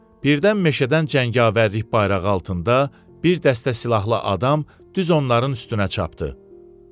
Birdən meşədən cəngavərlik bayrağı altında bir dəstə silahlı adam düz onların üstünə çapdı.